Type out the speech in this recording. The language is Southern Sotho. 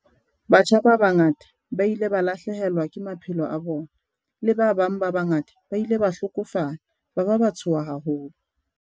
Batjha ba bangata ba ile ba lahlehelwa ke maphelo a bona, le bana ba bangata ba ile ba hlokofala ba ba ba tshoha haholo.